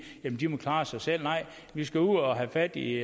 at de må klare sig selv nej vi skal ud og have fat i